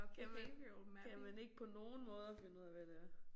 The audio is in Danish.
Jamen kan man ikke på nogen måder finde ud af hvad det er